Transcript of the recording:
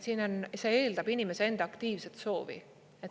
Siin on, see eeldab inimese enda aktiivset soovi.